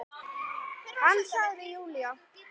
Hann sagði Júlía!